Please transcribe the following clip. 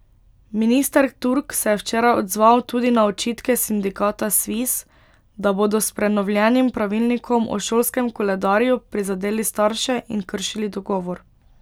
Minister Turk se je včeraj odzval tudi na očitke sindikata Sviz, da bodo s prenovljenim pravilnikom o šolskem koledarju prizadeli starše in kršili dogovor.